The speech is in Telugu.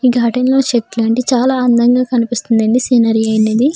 ఈ గార్డెన్లో చెట్లన్నీ చాలా అందంగా కనిపిస్తుందండి ఈ సేనరీ అనేది.